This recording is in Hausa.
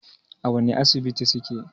A wani Asibitin suke?